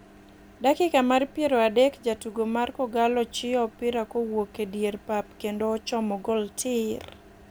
Dakika mar piero adek jatugo mar kogallo chiyo opira kowuok e dier pap kendo ochomo gol tiiir.